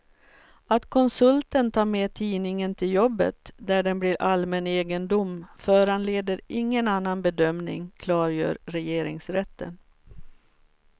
Att konsulten tar med tidningen till jobbet, där den blir allmän egendom, föranleder ingen annan bedömning, klargör regeringsrätten.